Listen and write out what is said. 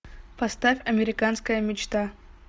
поставь американская мечта